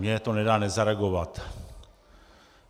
Mně to nedá nezareagovat.